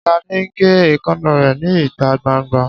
Ṣadé ń gé èékánná rẹ̀ ní ìta gbangba